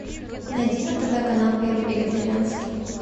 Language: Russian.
найди на тв канал первый вегетарианский